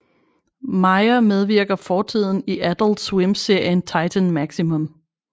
Meyer medvirker fortiden i Adult Swim serien Titan Maximum